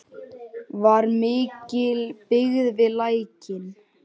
Var mikil byggð við Lækinn?